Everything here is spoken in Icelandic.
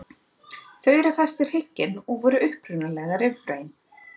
Þau eru fest við hrygginn og voru upprunalega rifbein.